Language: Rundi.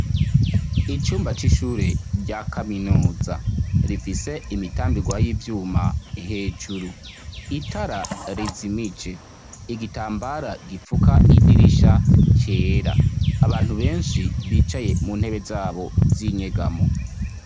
Icumba c'ishure rya kaminuza rifise imitambigwa y'ivyuma hejuru itara rizimice igitambara gipfuka idirisha cera abantu benshi bicaye mu ntebe zabo Z’inyegamo.